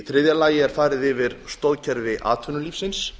þriðja farið er yfir stoðkerfi atvinnulífsins